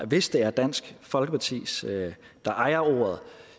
hvis det er dansk folkeparti der ejer ordet